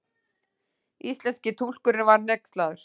Íslenski túlkurinn var hneykslaður.